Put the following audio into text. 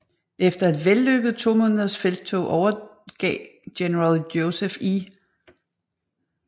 Efter et vellykket to måneders felttog overgav general Joseph E